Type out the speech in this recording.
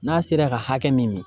N'a sera ka hakɛ min min